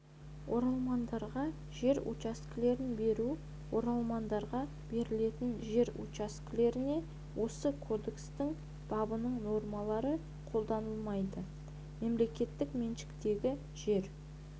оралмандарға жер учаскелерін беру оралмандарға берілетін жер учаскелеріне осы кодекстің бабының нормалары қолданылмайды мемлекеттік меншіктегі жер